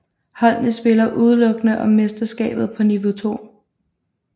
Holdene spillede udelukkende om mesterskabet på niveau 2